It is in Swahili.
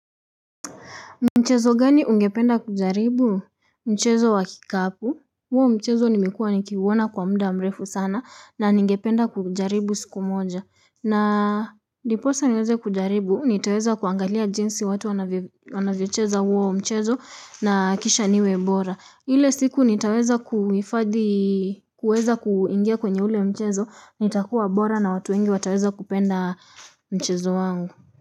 Mchezo gani ungependa kujaribu mchezo wa kikapu huo mchezo nimekuwa nikiuona kwa muda mrefu sana na ningependa kujaribu siku moja na ndiposa niweze kujaribu nitaweza kuangalia jinsi watu wanavyocheza huo mchezo na kisha niwe bora. Ile siku nitaweza kuifadhi kuweza kuingia kwenye ule mchezo nitakuwa bora na watu wengi wataweza kupenda mchezo wangu.